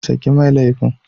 Saki mai laifin.